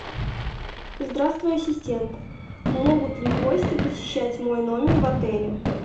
здравствуй ассистент могут ли гости посещать мой номер в отеле